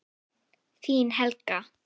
Þín Helga.